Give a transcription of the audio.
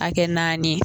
A kɛ naani ye